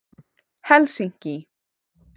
Helsinki